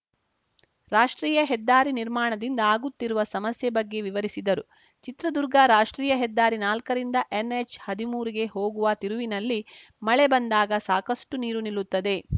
ರಾಷ್ಟ್ರೀಯ ಹೆದ್ದಾರಿ ನಿರ್ಮಾಣದಿಂದ ಆಗುತ್ತಿರುವ ಸಮಸ್ಯೆ ಬಗ್ಗೆ ವಿವರಿಸಿದರು ಚಿತ್ರದುರ್ಗ ರಾಷ್ಟ್ರೀಯ ಹೆದ್ದಾರಿ ನಾಲ್ಕರಿಂದ ಎನ್‌ಎಚ್‌ಹದಿಮೂರಿಗೆ ಹೋಗುವ ತಿರುವಿನಲ್ಲಿ ಮಳೆ ಬಂದಾಗ ಸಾಕಷ್ಟುನೀರು ನಿಲ್ಲುತ್ತದೆ